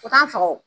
U k'an faga o